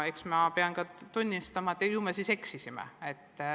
Eks ma pean ka tunnistama, et ju me siis eksisime.